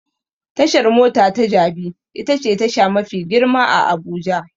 Tashar mota ta Jabi itace tasha mafi girma a Abuja.